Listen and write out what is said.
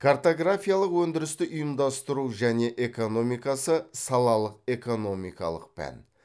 картографиялық өндірісті ұйымдастыру және экономикасы салалық экономикалық пән